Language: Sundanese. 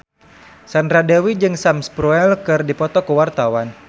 Sandra Dewi jeung Sam Spruell keur dipoto ku wartawan